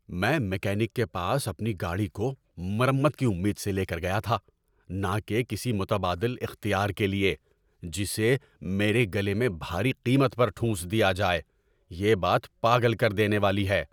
‏میں میکینک کے پاس اپنی گاڑی کو مرمت کی امید سے لے کر گیا تھا، نہ کہ کسی متبادل اختیار کے لیے، جسے میرے گلے میں بھاری قیمت پر ٹھونس دیا جائے۔ یہ بات پاگل کر دینے والی ہے۔